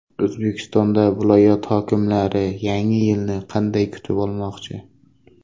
O‘zbekistonda viloyat hokimlari Yangi yilni qanday kutib olmoqchi?.